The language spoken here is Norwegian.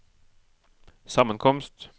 sammenkomst